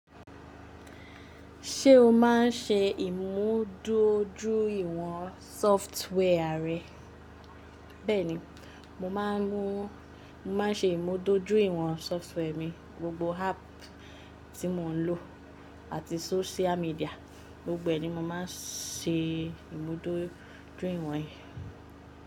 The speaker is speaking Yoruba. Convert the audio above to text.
Ṣé o maá n ṣe ìmúdójúìwọ̀n sọftíwẹ́ẹ̀rì rẹ? Bẹ́ẹ̀ni, mo máa n ṣe ìmúdójúìwọ̀n sọftíwẹ́ẹ̀rì mi, gbogbo áápù tí mo n lò àti social media, gbogbo ẹni mo má n ṣe ìmúdójúìwọ̀n é.